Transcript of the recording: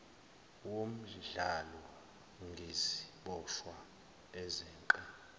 womdlalo ngeziboshwa ezeqe